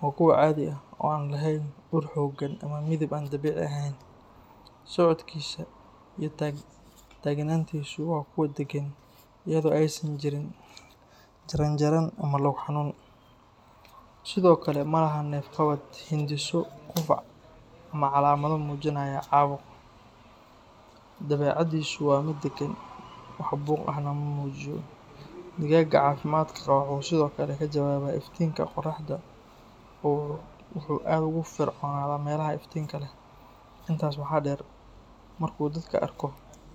waa kuwo caadi ah oo aan lahayn ur xooggan ama midab aan dabiici ahayn. Socodkiisa iyo taagnaantiisu waa kuwo deggan, iyadoo aysan jirin jaran jaran ama lug xanuun. Sidoo kale, ma laha neef qabad, hindhiso, qufac ama calaamado muujinaya caabuq. Dabeecaddiisu waa mid daggan, wax buuq ahna ma muujiyo. Digaagga caafimaadka qaba wuxuu sidoo kale ka jawaabaa iftiinka qorraxda oo wuxuu aad ugu firfircoonaadaa meelaha iftiinka leh. Intaas waxaa dheer, markuu dadka arko, si fudud ayuu uga falceliyaa, taasoo muujinaysa miyir qabkiisa iyo dareenka dabiiciga ah ee wanaagsan. Calaamadahan oo wada jira waxay caddeynayaan in digaagu caafimaad qabo.